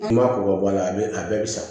I m'a ko ka bɔ a la a bɛ a bɛɛ bɛ sa